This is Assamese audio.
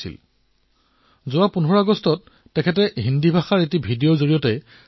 সেদুজীয়ে যেতিয়া কুম্ভলৈ আহিছিল তেতিয়া তেওঁ মই সাক্ষাৎ কৰা প্ৰতিনিধি মণ্ডলৰ অংশ আছিল